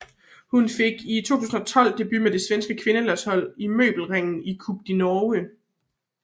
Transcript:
Hun fik i 2012 debut på det svenske kvindelandshold til Møbelringen Cup i Norge